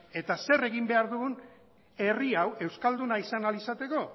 eta zer egin behar dugu herri hau euskalduna izan ahal izateko